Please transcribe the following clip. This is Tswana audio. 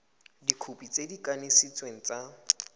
dikhopi tse di kanisitsweng tsa